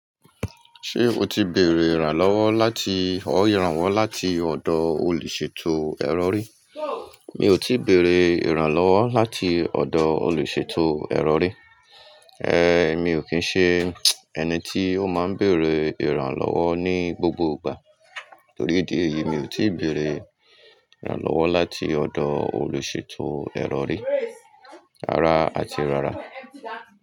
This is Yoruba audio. Ṣé o ti bèrè ìrànlọ́wọ́ láti ọ́ ìrànwọ́ láti ọ̀dọ̀ olùsètò ẹ́rọ rí? Mi ò tí bèrè ìrànlọ́wọ́ láti ọ̀dọ̀ olùsètò ẹ́rọ rí. Ehn, mi ò kín ṣe ẹni tí ó máa ń bèrè ìrànlọ́wọ́ ní gbogbo ìgbà. Torí dí èyí, mi ò tí bèrè ìrànlọ́wọ́ láti ọ̀dọ̀ olùsètò ẹ́rọ rí, rara àti rárá.